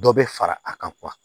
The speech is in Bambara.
Dɔ bɛ fara a kan